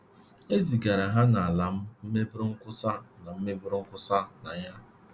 E zigara ha n’ala m meburu nkwusa na meburu nkwusa na ya — Kenya.